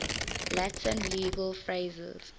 latin legal phrases